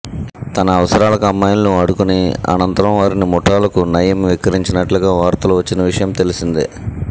తన అవసరాలకు అమ్మాయిలను వాడుకొని అనంతరం వారిని ముఠాలకు నయీం విక్రయించినట్లుగా వార్తలు వచ్చిన విషయం తెలిసిందే